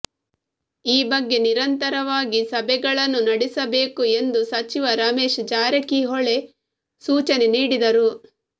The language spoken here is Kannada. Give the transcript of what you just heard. ಈ ಬಗ್ಗೆ ನಿರಂತರವಾಗಿ ಸಭೆಗಳನ್ನು ನಡೆಸಬೇಕು ಎಂದು ಸಚಿವ ರಮೇಶ್ ಜಾರಕಿಹೊಳಿ ಸೂಚನೆ ನೀಡಿದರು